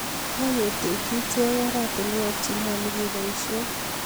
kaketekchi ichek oratunwek che nyalun kebaishen